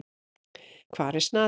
Hvar er Snati?